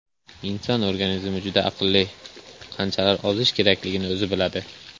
Inson organizmi juda aqlli, qanchada ozish kerakligini o‘zi biladi.